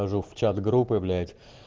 хожу в чат группы блять